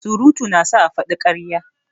Surutu na sa a faɗi ƙarya.